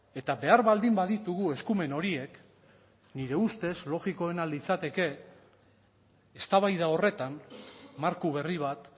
eta behar baldin baditugu eskumen horiek nire ustez logikoena litzateke eztabaida horretan marko berri bat